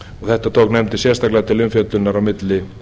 þetta tók nefndin sérstaklega til umfjöllunar á milli